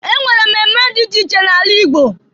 E nwere mmemme dị iche iche n'ala Igbo.